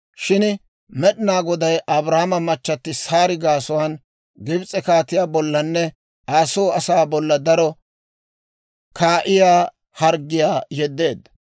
Shin Med'inaa Goday Abraama machchatti Saari gaasuwaan Gibis'e kaatiyaa bollanne Aa soo asaa bolla daro kaa'iyaa harggiyaa yeddeedda.